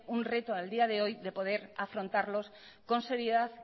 un reto al día de hoy de poder afrontarlos con seriedad